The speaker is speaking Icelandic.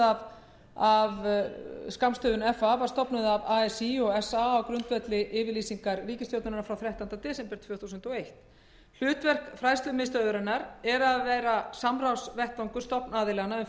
e h f var stofnuð af así og sa á grundvelli yfirlýsingar ríkisstjórnarinnar frá þrettánda desember tvö þúsund og eitt hlutverk hennar er að vera samstarfsvettvangur stofnaðilanna um fullorðinsfræðslu og